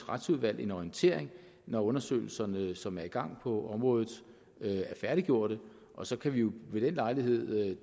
retsudvalg en orientering når undersøgelserne som er i gang på området er færdiggjorte og så kan vi jo ved den lejlighed